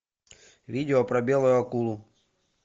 видео про белую акулу